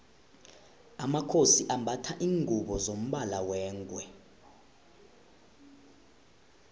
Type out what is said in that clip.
amakhosi ambatha lingubo zombala wengwe